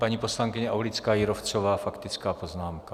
Paní poslankyně Aulická Jírovcová, faktická poznámka.